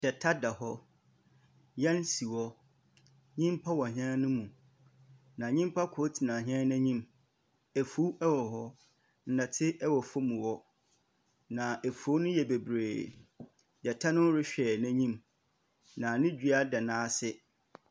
Gyata da hɔ, hɛn si hɔ, nyimpa wɔ hɛn no mu, na nyimpa kor tsena hɛn n’enyim. Efuw wɔ hɔ, ndɛtse wɔ fam hɔ, na efuw no yɛ beberee. Gyata no rohwɛ n’enyim na no dua da n’ase.